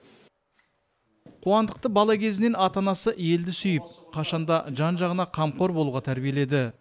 қуандықты бала кезінен ата анасы елді сүйіп қашан да жан жағына қамқор болуға тәрбиеледі